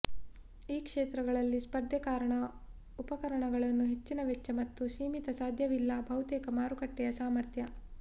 ಈ ಕ್ಷೇತ್ರಗಳಲ್ಲಿ ಸ್ಪರ್ಧೆ ಕಾರಣ ಉಪಕರಣಗಳನ್ನು ಹೆಚ್ಚಿನ ವೆಚ್ಚ ಮತ್ತು ಸೀಮಿತ ಸಾಧ್ಯವಿಲ್ಲ ಬಹುತೇಕ ಮಾರುಕಟ್ಟೆಯ ಸಾಮರ್ಥ್ಯ